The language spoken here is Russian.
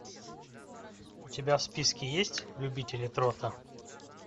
у тебя в списке есть любители трота